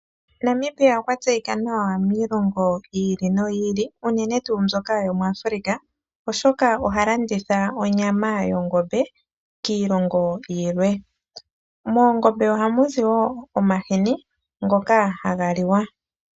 Namibia okwa tseyika nawa miilongo yi ili no yi ili, unene tuu mbyoka yomuAfrica oshoka oha landitha onyama yongombe kiilongo yilwe. Moongombe oha mu zi woo omahini ngoka haga liwa.